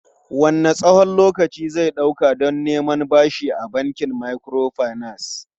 Wanne tsawon lokaci zai ɗauka don neman bashi a bankin microfinance?